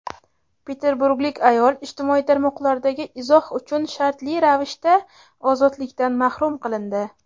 Peterburglik ayol ijtimoiy tarmoqdagi izoh uchun shartli ravishda ozodlikdan mahrum qilindi.